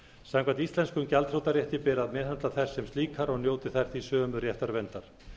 samkvæmt íslenskum gjaldþrotarétti beri að meðhöndla þær sem slíkar og njóti þær því sömu réttarverndar